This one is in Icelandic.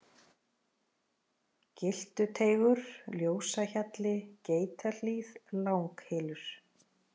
Gyltuteigur, Ljósahjalli, Geitahlíð, Langhylur